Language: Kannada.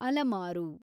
ಅಲಮಾರು